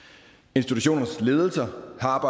institutionernes ledelser har